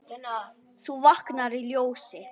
þú vaknar í ljósi.